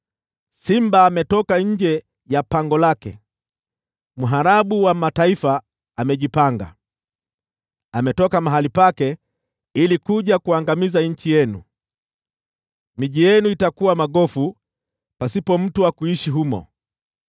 Simba ametoka nje ya pango lake, mharabu wa mataifa amejipanga. Ametoka mahali pake ili aangamize nchi yenu. Miji yenu itakuwa magofu pasipo mtu wa kuishi humo.